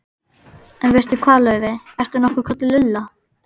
En veistu hvað, Laufey- ertu nokkuð kölluð Lulla?